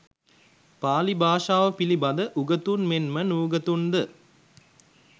පාලි භාෂාව පිළිබඳ උගතුන් මෙන් ම නූගතුන් ද